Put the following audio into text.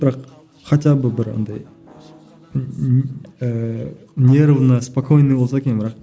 бірақ хотя бы бір анандай ммм ііі нервно спокойно болса екен бірақ